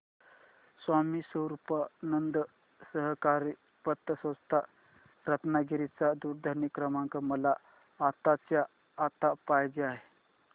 स्वामी स्वरूपानंद सहकारी पतसंस्था रत्नागिरी चा दूरध्वनी क्रमांक मला आत्ताच्या आता पाहिजे आहे